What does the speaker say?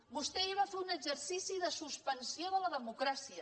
vostè ahir va fer un exercici de suspensió de la democràcia